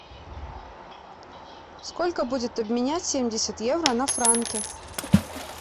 сколько будет обменять семьдесят евро на франки